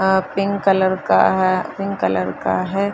आ pink colour का है cream colour का है।